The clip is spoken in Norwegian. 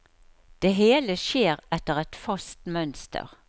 Det hele skjer etter et fast mønster.